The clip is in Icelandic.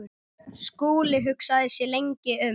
Skúli hugsaði sig lengi um.